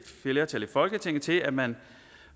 flertal i folketinget til at man